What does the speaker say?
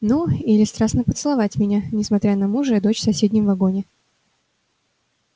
ну или страстно поцеловать меня несмотря на мужа и дочь в соседнем вагоне